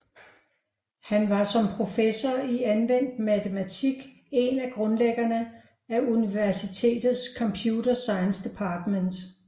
Han var som professor i anvendt matematik en af grundlæggerne af universitetets Computer Science Department